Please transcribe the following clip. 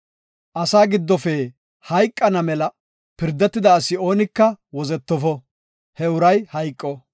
Asaa giddofe hayqana mela pirdetida asi oonika wozetofo; he uray hayqo.